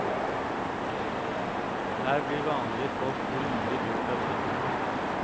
Her blir vanlige folk grundig lurt av kjentfolk.